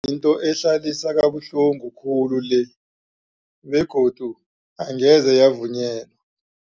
Yinto ehlalisa kabuhlungu khulu le begodu angeze yavunyelwa.